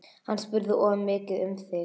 Hann spurði of mikið um þig